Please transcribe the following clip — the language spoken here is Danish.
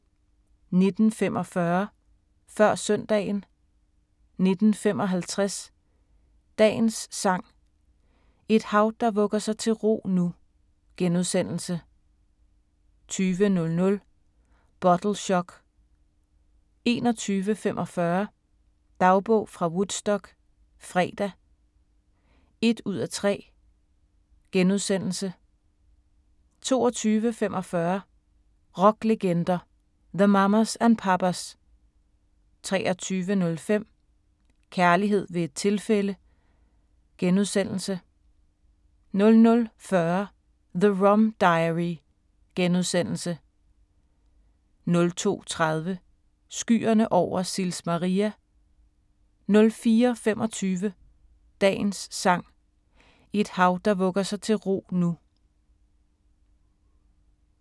19:45: Før søndagen 19:55: Dagens Sang: Et hav der vugger sig til ro nu * 20:00: Bottle Shock 21:45: Dagbog fra Woodstock - fredag (1:3)* 22:45: Rocklegender – The Mamas and Papas 23:05: Kærlighed ved et tilfælde * 00:40: The Rum Diary * 02:30: Skyerne over Sils Maria 04:25: Dagens Sang: Et hav der vugger sig til ro nu *